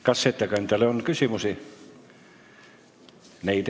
Kas ettekandjale on küsimusi?